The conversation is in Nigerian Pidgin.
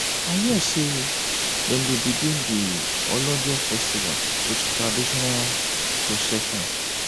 i hear sey dem dey begin di olojo festival wit traditional procession.